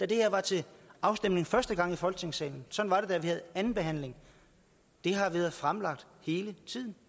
det her var til afstemning første i gang i folketingssalen sådan var det da vi havde anden behandling det har været fremlagt hele tiden